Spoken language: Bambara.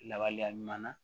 Lawaleya ɲuman na